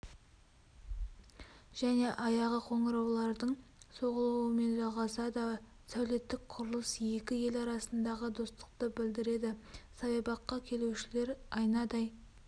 және аяғы қоңыраулардың соғылуымен жалғасады сәулеттік құрылыс екі ел арасындағы достықты білдіреді саябаққа келушілер айнадай